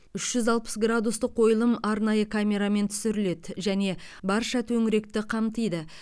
үш жүз алпыс градустық қойылым арнайы камерамен түсіріледі және барша төңіректі қамтиды